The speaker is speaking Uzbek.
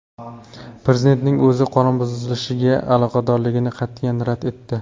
Prezidentning o‘zi qonunbuzilishlariga aloqadorligini qat’iyan rad etdi.